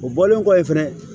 O bɔlen kɔ yen fɛnɛ